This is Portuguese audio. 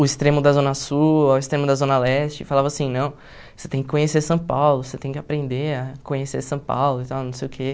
o extremo da Zona Sul, ao extremo da Zona Leste, e falava assim, não, você tem que conhecer São Paulo, você tem que aprender a conhecer São Paulo e tal, não sei o quê.